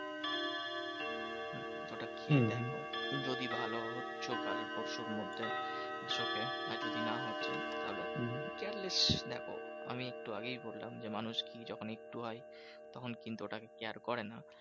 ওটা খেয়ে দেখো যদি ভালো হচ্ছো কাল পরশুর মধ্যে its okay. আর যদি না হচ্ছে তাহলে careless দেখো আমি একটু আগেই বললাম যে, মানুষ কি যখন একটু হয় তখন কিন্তু ওটাকে care করে না।